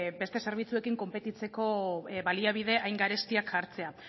beste zerbitzuekin konpetitzeko baliabide hain garestiak jartzea